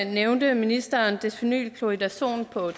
nævnte ministeren desphenyl chloridazon på